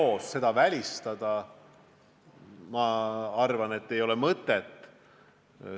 Eos seda välistada, ma arvan, ei ole mõtet.